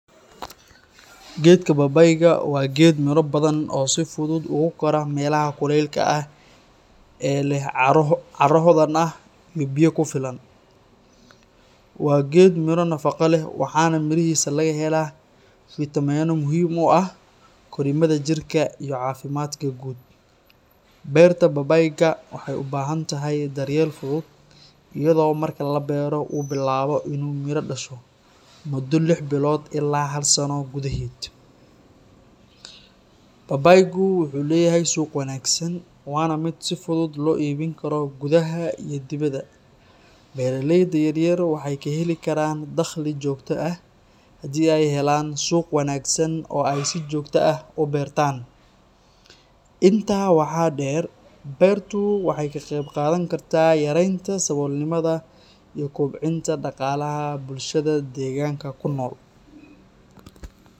Geedka babaayga (pawpaw) waa geed miro badan oo si fudud ugu kora meelaha kulaylaha ah ee leh carro hodan ah iyo biyo ku filan. Waa geed miro nafaqo leh, waxaana mirihiisa laga helaa fitamiinno muhiim u ah korriimada jirka iyo caafimaadka guud. Beerta babaayga waxay u baahan tahay daryeel fudud, iyadoo marka la beero uu bilaabo inuu miro dhasho muddo lix bilood ilaa hal sano gudaheed. Babaaygu wuxuu leeyahay suuq wanaagsan, waana mid si fudud loo iibin karo gudaha iyo dibadda. Beeraleyda yaryar waxay ka heli karaan dakhli joogto ah haddii ay helaan suuq wanaagsan oo ay si joogto ah u beertaan. Intaa waxaa dheer, beertu waxay ka qayb qaadan kartaa yareynta saboolnimada iyo kobcinta dhaqaalaha bulshada deegaanka ku nool.